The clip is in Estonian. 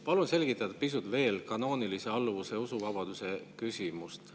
Palun selgitada pisut veel kanoonilise alluvuse ja usuvabaduse küsimust.